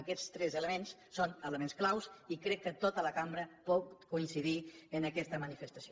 aquests tres elements són elements clau i crec que tota la cambra pot coincidir en aquesta manifestació